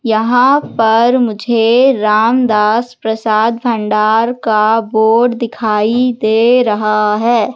यहां पर मुझे रामदास प्रसाद भंडार का बोर्ड दिखाई दे रहा है।